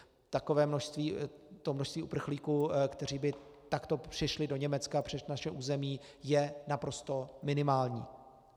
Takové množství, to množství uprchlíků, kteří by takto přišli do Německa přes naše území, je naprosto minimální.